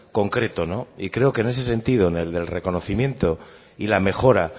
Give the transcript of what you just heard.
concreto y creo que en ese sentido en el del reconocimiento y la mejora